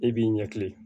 E b'i ɲɛkile